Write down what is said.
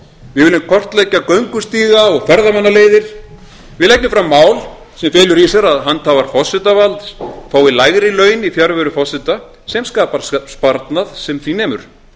við viljum kortlegggja göngustíga og ferðamannaleiðir við leggjum fram mál sem felur í sér að handhafar forsetavalds fái lægri laun í fjarveru forseta sem skapar sparnað sem því nemur